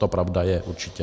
To pravda je, určitě.